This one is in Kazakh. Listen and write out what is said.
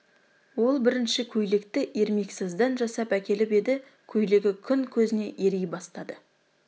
ол бірінші көйлекті ермексаздан жасап әкеліп еді көйлегі күн көзіне ери бастады